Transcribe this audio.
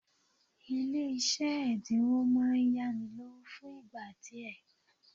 Ile ise edinwo maa n yanilowo fun igba die